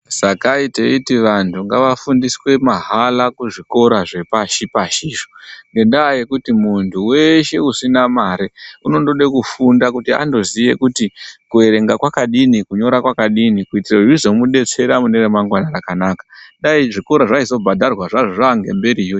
Sakai teiti vantu ngavafundiswe mahala kuzvikora zvepashi pashizvo, ngendaa yekuti muntu weeshe usina mare, unondode kufunda kuti andoziye kuti kuerenga kwakadini, kunyora kwakadini kuitire kuti zvizomudetsera mune ramangwani rakanaka. Dai zvikora zvaizobhadharwa zvazvo zvaangemberiyo.